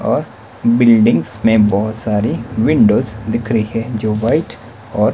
और बिल्डिंग्स में बहोत सारी विंडोस दिख रही है जो वाइट और--